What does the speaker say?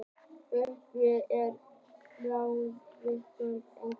Ubbi, er bolti á miðvikudaginn?